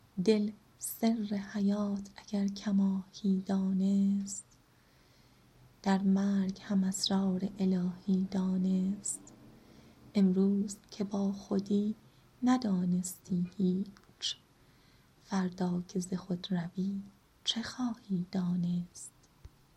دل سر حیات اگر کماهی دانست در مرگ هم اسرار الهی دانست امروز که با خودی ندانستی هیچ فردا که ز خود روی چه خواهی دانست